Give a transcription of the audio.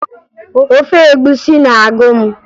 Ofe egwusi na-agụ m